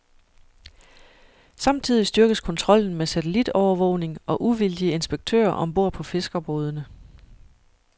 Samtidig styrkes kontrollen med satellitovervågning og uvildige inspektører om bord på fiskerbådene.